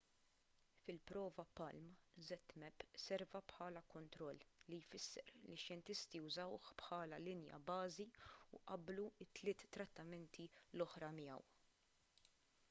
fil-prova palm zmapp serva bħala kontroll li jfisser li x-xjentisti użawh bħala linja bażi u qabblu t-tliet trattamenti l-oħra miegħu